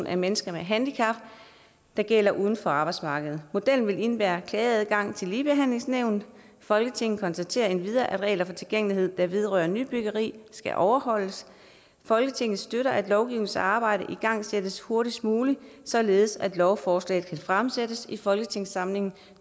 af mennesker med handicap der gælder uden for arbejdsmarkedet modellen vil indebære klageadgang til ligebehandlingsnævnet folketinget konstaterer endvidere at regler for tilgængelighed der vedrører nybyggeri skal overholdes folketinget støtter at lovgivningsarbejdet igangsættes hurtigst muligt således at lovforslaget kan fremsættes i folketingssamlingen